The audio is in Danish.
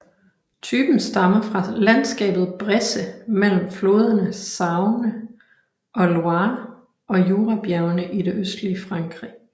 Typen stammer fra landskabet Bresse mellem floderne Saône og Loire og Jurabjergene i det østlige Frankrig